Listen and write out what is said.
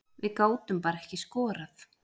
Við gátum bara ekki skorað